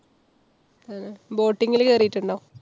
ആഹ് boating ല് കേറീട്ടുണ്ടോ?